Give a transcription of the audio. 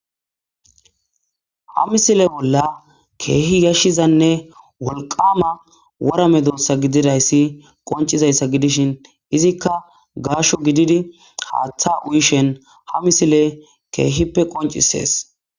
Ha misile bolla kehi yashizanee woliqama medosa gididayis qonicizaysa gidishin izika gasho gididi hatha uyishe dizaysa kehipe qonicises